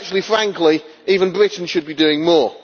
Frankly, even Britain should be doing more.